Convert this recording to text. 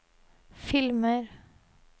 filmer